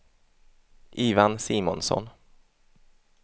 Ivan Simonsson